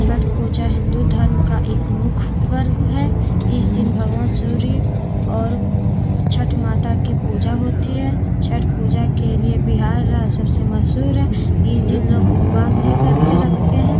छठ पूजा हिन्दू धर्म का एक मुख्य पर्व है इस दिन भगवान सूर्य और छट माता की पूजा होती है छट पूजा के लिए बिहार राज सबसे मशहूर है इस दिन लोग उपवास कर के रखते है।